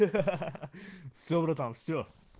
ха ха все братан все